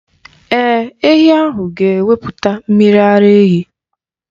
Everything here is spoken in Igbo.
Ee, ehi ahụ ga-ewepụta mmiri ara ehi.